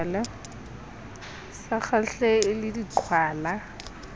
sa kgahlehe e le diqhwala